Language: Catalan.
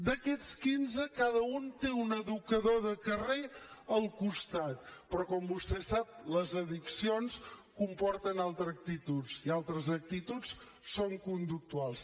d’aquests quinze cada un té un educador de carrer al costat però com vostè sap les addiccions comporten altres actituds i altres actituds són conductuals